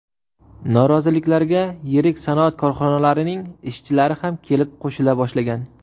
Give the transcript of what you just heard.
Noroziliklarga yirik sanoat korxonalarining ishchilari ham kelib qo‘shila boshlagan.